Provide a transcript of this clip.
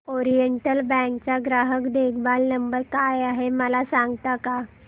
oriental Bank चा ग्राहक देखभाल नंबर काय आहे मला सांगता का